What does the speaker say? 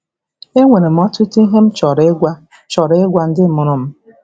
“Enwere m ọtụtụ ihe m chọrọ ịgwa chọrọ ịgwa ndị mụrụ m.